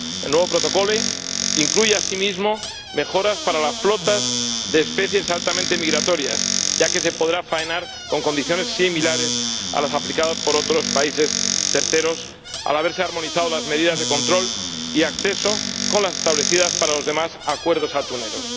El nuevo Protocolo incluye asimismo mejoras para las flotas de especies altamente migratorias, ya que se podrá faenar con condiciones similares a las aplicadas por otros países terceros, al haberse armonizado las medidas de control y acceso con las establecidas para los demás acuerdos atuneros.